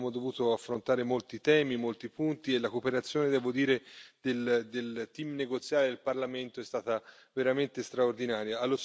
Abbiamo dovuto affrontare molti temi, molti punti e la cooperazione, devo dire, del team negoziale del Parlamento è stata veramente straordinaria.